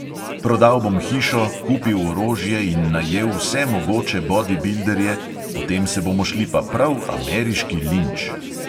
Prodal bom hišo, kupil orožje in najel vse mogoče bodibilderje, potem se bomo šli pa prav ameriški linč!